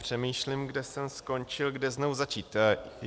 Přemýšlím, kde jsem skončil, kde znovu začít.